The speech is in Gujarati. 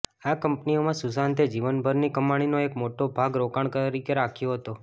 આ કંપનીઓમાં સુશાંતે જીવનભરની કમાણીનો એક મોટો ભાગ રોકાણ તરીકે રાખ્યો હતો